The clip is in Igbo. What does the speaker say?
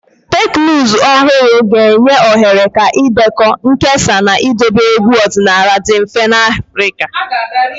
Teknụzụ ọhụrụ ga-enye ohere ka ịdekọ, nkesa, na idobe egwu ọdịnala dị mfe n'Afrika.